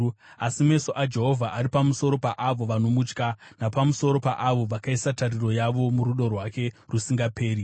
Asi meso aJehovha ari pamusoro paavo vanomutya, napamusoro paavo vakaisa tariro yavo murudo rwake rusingaperi,